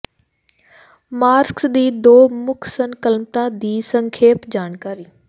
marks ਦੀ ਦੋ ਮੁੱਖ ਸੰਕਲਪਾਂ ਦੀ ਇੱਕ ਸੰਖੇਪ ਜਾਣਕਾਰੀ